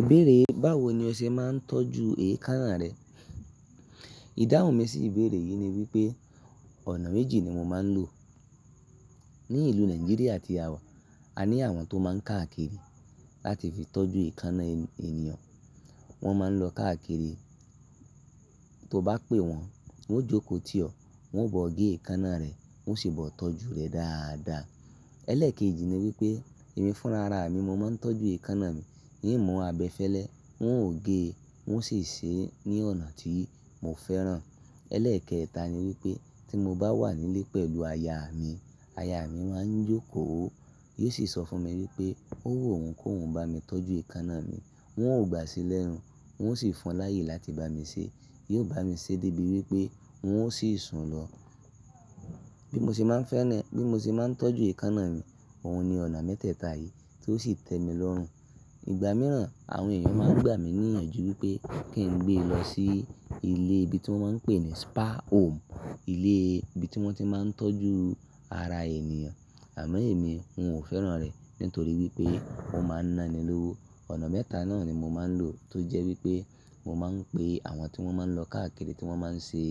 Ìbéèrè báwo ni o ṣe máa ń tọ́jú èékánná rẹ? Ìdáhùn mi sí ìbéèrè yìí ni wípé ọ̀nà méjì ni mo máa ń lò. Ní ìlú Nàìjíríà tí a wà, a ní àwọn tó máa ń káàkiri láti fi tọ́jú èékánná ènìyàn. Wọ́n máa ń lọ káàkiri, tó bá pé wọ́n, wọ́n ó jókòó tì ọ́, wọ́n ọ̀ gé èékánná rẹ̀, wọ́n sì bọ̀ tọ́jú rẹ̀ dáadáa. Ẹ́lẹ́ẹ̀kejì ni wípé èmi fúnra ra mi, mo máa ń tọ́jú èékánná mi. E mú abẹfẹ́lẹ́, wọn ò gé e, wọn sì ṣe é ní ọ̀nà tí mo fẹ́ràn. Ẹ́lẹ́ẹ̀kẹta ni wípé tí mo bá wà nílé pẹ̀lú aya mi, aya mi máa ń jókòó, yóò sì sọ fún mi wípé ó wù owòún ko woun ba mi tọ́jú èékánná mi. Wọ ò gbà sílẹ̀ hun, wọn ó sì fọ́n láyè láti bá mi ṣe. Yóò bá mi ṣe débi wípé wọn ó sì sùn lọ. Bí mo ṣe máa ń fẹ́ni, bí mo ṣe máa ń tọ́jú èékánná mi, òun ni ọ̀nà mẹ́tẹ́ẹ̀ta yìí tí ó sì tẹ mi lọ́rùn. Ìgbà mìíràn, àwọn ènìyàn máa ń gbà mí ní iyànjú wípé kí n gbé e lọ sí ilé ibi tí wọ́n máa ń pè ní spa home, ilé ibi tí wọ́n ti máa ń tọ́jú ara ènìyàn. Àmọ́ èmi, ò fẹ́ràn rẹ̀ nítorí wípé ó máa ń naní lówó. Ọ̀nà mẹ́ta náà ni mo máa ń lò tó jẹ́ wípé mo máa ń pe àwọn tí wọ́n máa ń lọ káàkiri tí wọ́n máa ń ṣe